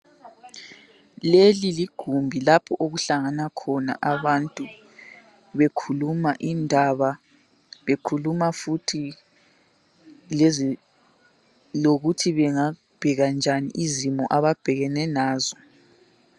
Leli ligumbi lapho okuhlangana khona bantu bekhuluma indaba, bekhuluma indaba bekhuluma futhi lezi lokuthi bengabheka njani izimo ababhekene nazo.